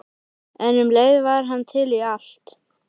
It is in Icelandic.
En um leið var hann til í allt.